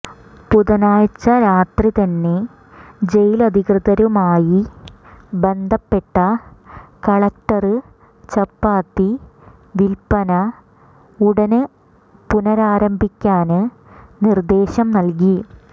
ബുധനാഴ്ച രാത്രി തന്നെ ജയിലധികൃതരുമായി ബന്ധപ്പെട്ട കളക്ടര് ചപ്പാത്തി വില്പ്പന ഉടന് പുനരാരംഭിക്കാന് നിര്ദേശം നല്കി